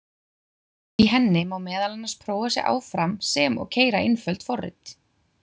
Í henni má meðal annars prófa sig áfram sem og keyra einföld forrit.